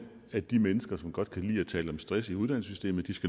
at de mennesker som godt kan lide at tale om stress i uddannelsessystemet